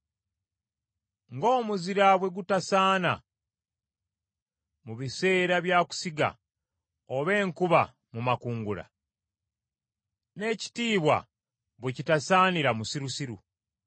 Ng’omuzira bwe gutasaana mu biseera bya kusiga oba enkuba mu makungula, n’ekitiibwa bwe kitasaanira musirusiru.